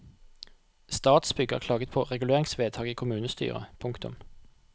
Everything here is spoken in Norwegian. Statsbygg har klaget på reguleringsvedtaket i kommunestyret. punktum